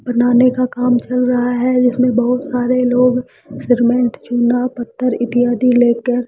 बनाने का काम चल रहा है जिसमें बहुत सारे लोग सिरमेंट चूना पत्थर इत्यादि लेकर --